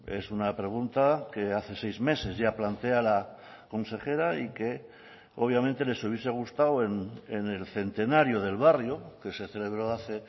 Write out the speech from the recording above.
es una pregunta que hace seis meses ya plantea la consejera y que obviamente les hubiese gustado en el centenario del barrio que se celebró hace